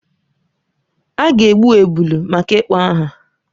A ga-egbu ebulu maka ịkpọ aha.